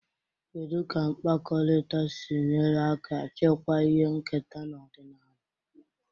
Kedu ka mkpakọrịta si nyere aka chekwaa ihe nketa na ọdịnala?